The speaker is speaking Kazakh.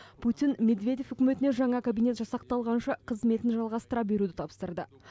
путин медведев үкіметіне жаңа кабинет жасақталғанша қызметін жалғастыра беруді тапсырды